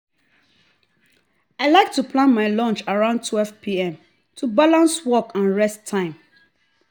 i like to plan my lunch around 12pm to balance work and rest time.